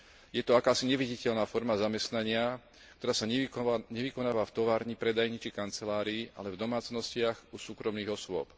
Je to akási neviditeľná forma zamestnania, ktorá sa nevykonáva v továrni, predajni či kancelárii, ale v domácnostiach u súkromných osôb.